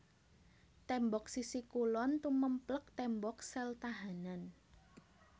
Tembok sisi kulon tumèmplèk tembok sel tahanan